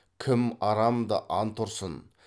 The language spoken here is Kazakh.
кім арамды ант ұрсын